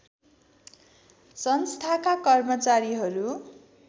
संस्थाका कर्मचारीहरू